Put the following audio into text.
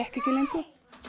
ekki lengur